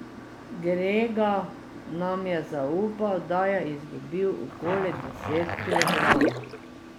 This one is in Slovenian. Grega nam je zaupal, da je izgubil okoli deset kilogramov.